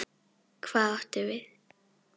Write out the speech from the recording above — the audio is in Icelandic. Hvað áttu við?